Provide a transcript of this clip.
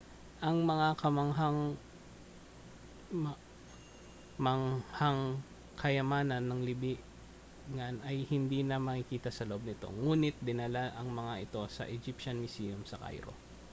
ang mga kamangha-manghang kayamanan ng libingan ay hindi na makikita sa loob nito ngunit dinala ang mga ito sa egyptian museum sa cairo